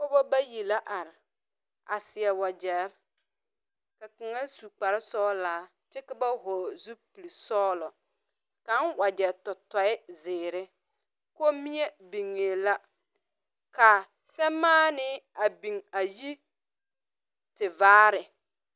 Pɔgba bayi la arẽ a seɛ wujeri ka kanga su kpare sɔglaa kye ka ba vɔgle zupili sɔglo kang wuje to tuɛ ziiri kɔmmie bingɛɛ la ka samaanii a bing ayi tevaare.